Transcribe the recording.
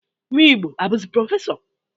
Nwigbo a buzi prọfesọ?